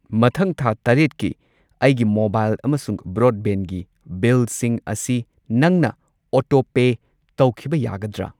ꯃꯊꯪ ꯊꯥ ꯇꯔꯦꯠꯀꯤ ꯑꯩꯒꯤ ꯃꯣꯕꯥꯏꯜ ꯑꯃꯁꯨꯡ ꯕ꯭ꯔꯣꯗꯕꯦꯟꯗꯒꯤ ꯕꯤꯜꯁꯤꯡ ꯑꯁꯤ ꯅꯪꯅ ꯑꯣꯇꯣꯄꯦ ꯇꯧꯈꯤꯕ ꯌꯥꯒꯗ꯭ꯔꯥ?